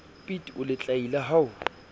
piet o letlaila ha o